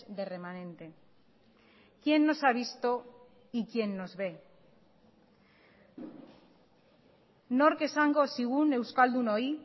de remanente quién nos ha visto y quién nos ve nork esango zigun euskaldunoi